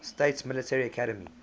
states military academy